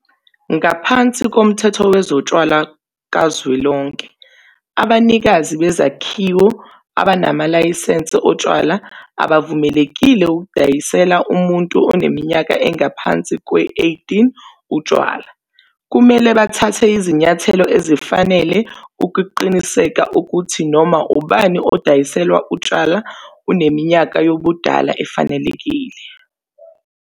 Ngaphansi koMthetho Wezotshwala Kazwelonke, abanikazi bezakhiwo abanamalayisense otshwala abavumelekile ukudayisela umuntu oneminyaka engaphansi kweyi-18 utshwala. Kumele bathathe izinyathelo ezifanele ukuqinisekisa ukuthi noma ubani odayiselwa utshwala uneminyaka yobudala efanelekile.